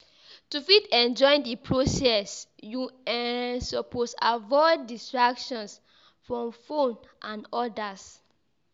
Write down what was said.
To fit enjoy di process you um suppose avoid distractions from phone and others